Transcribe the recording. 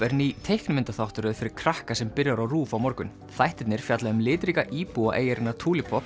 er ný teiknimyndaþáttaröð fyrir krakka sem byrjar á RÚV á morgun þættirnir fjalla um litríka íbúa eyjarinnar